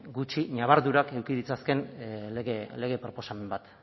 gutxi ñabardurak eduki ditzazkeen lege proposamen bat